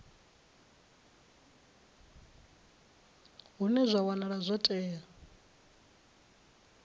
hune zwa wanala zwo tea